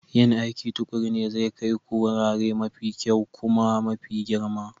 Yin aiki tuƙuru ne zai kai ku wurare mafi kyau kuma mafi girma.